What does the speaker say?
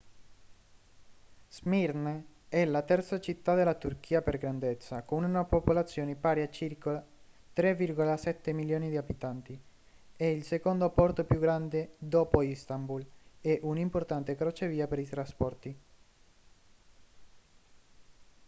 smirne è la terza città della turchia per grandezza con una popolazione pari a circa 3,7 milioni di abitanti è il secondo porto più grande dopo istanbul e un importante crocevia per i trasporti